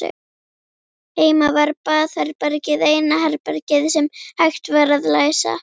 Heima var baðherbergið eina herbergið sem hægt var að læsa.